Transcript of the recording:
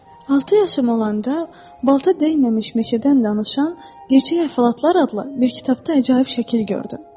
Altı yaşım olanda balta dəyməmiş meşədən danışan gerçək əhvalatlar adlı bir kitabda əcaib şəkil gördüm.